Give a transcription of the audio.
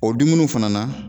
O dumuniw fana na.